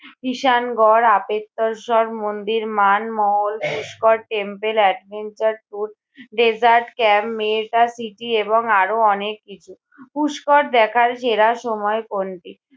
ঈশান গড়, আপেত্তরসর মন্দির, Man Mahal, Pushkar temple, adventure tour, desert camp, mega city এবং আরও অনেক কিছু। পুষ্কর দেখার সেরা সময় কোনটি?